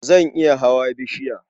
Zan iya hawa bishiya.